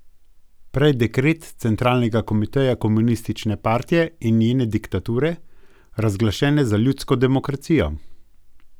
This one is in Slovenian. Prej dekret centralnega komiteja komunistične partije in njene diktature, razglašene za ljudsko demokracijo.